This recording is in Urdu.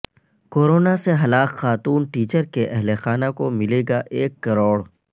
کورونا سے ہلاک خاتون ٹیچر کے اہل خانہ کو ملے گا ایک کروڑ